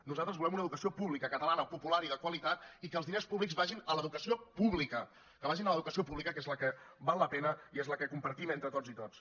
nosaltres volem una educació pública catalana popular i de qualitat i que els diners públics vagin a l’educació pública que vagin a l’educació pública que és la que val la pena i és la que compartim entre totes i tots